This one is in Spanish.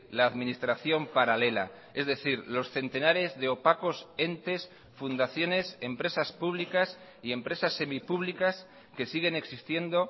la administración paralela es decir los centenares de opacos entes fundaciones empresas públicas y empresas semipúblicas que siguen existiendo